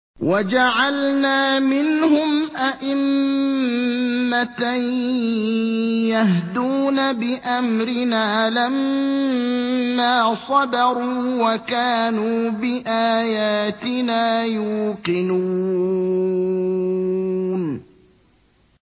وَجَعَلْنَا مِنْهُمْ أَئِمَّةً يَهْدُونَ بِأَمْرِنَا لَمَّا صَبَرُوا ۖ وَكَانُوا بِآيَاتِنَا يُوقِنُونَ